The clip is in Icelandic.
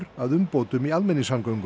að umbótum í almenningssamgöngum